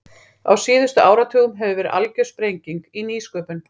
Á síðustu áratugum hefur verið algjör sprenging í nýsköpun.